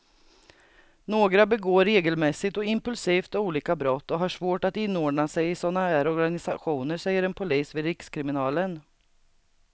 Några begår regelmässigt och impulsivt olika brott och har svårt att inordna sig i såna här organisationer, säger en polis vid rikskriminalen.